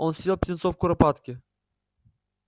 он съел птенцов куропатки